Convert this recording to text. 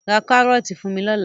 Ra kárọ́ọ́tì fún mi lọ́la!